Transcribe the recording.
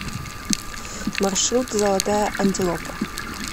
маршрут золотая антилопа